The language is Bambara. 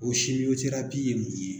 O ye mun ye?